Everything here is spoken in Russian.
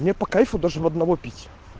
мне по кайфу даже в одного пить